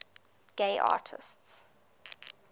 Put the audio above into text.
gay artists